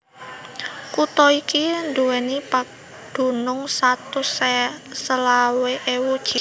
Kutha iki nduwèni padunung satus selawe ewu jiwa